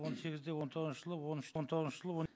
он сегізде он тоғызыншы жылы он үш он тоғызыншы жылы он